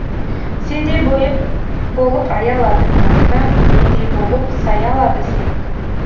сендей болып аялады мені кім мендей болып саялады сені кім